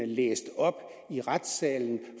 læst op i retssalen